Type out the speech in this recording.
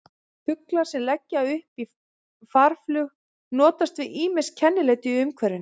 Fuglar sem leggja upp í farflug notast við ýmis kennileiti í umhverfinu.